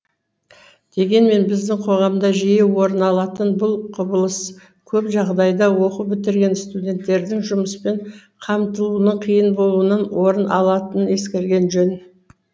дегенмен біздің қоғамда жиі орын алатын бұл құбылыс көп жағдайда оқу бітірген студенттердің жұмыспен қамтылуының қиын болуынан орын алатынын ескерген жөн